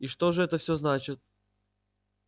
и что же всё это значит